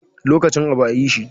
Lokacin abu a yi shi